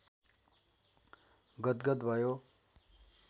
गदगद भयो